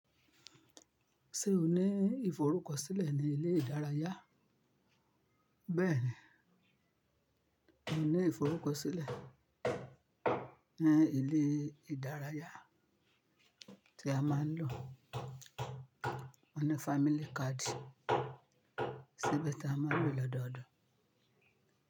Ṣé o ní ìforúkọsílẹ̀ ní ilé ìdárayá? Bẹ́ẹ̀ ni, mo ní ìforúkọsílẹ̀ ní ilé ìdárayá tí a máa ń lò. Mọ́ ní family card, síbe tí a máa ń lò lọ́dọọdún.